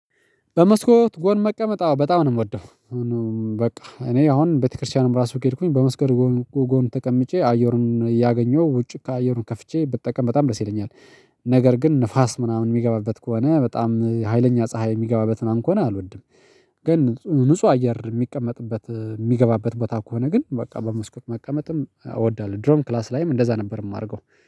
በመስኮት ጎን መቀመጥ አዎ በጣም ነው የምወደው። በቃ እኔ አሁን ቤተ ክርስቲያንም ራሱ ከሄድኩኝ በመስኮት ጎን ተቀምጬ አየሩን እያገኘሁ ውጪ ከአየሩን ከፍቼ ብጠቀም በጣም ደስ ይለኛል። ነገር ግን ንፋስ ምናምን የሚገባበት ከሆነ በጣም ሀይለኛ ፀሀይ የሚገባበት ምነምን ከሆነ አልወድም። ግን ንጹህ አየር የሚቀመጥበት የሚገባበት ቦታ ከሆነ ግን በቃ በመስኮት መቀመጥም እወዳለሁ። ድሮም ክላስ ላይም እንደዛ ነበር የማደርገው